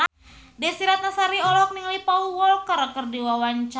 Desy Ratnasari olohok ningali Paul Walker keur diwawancara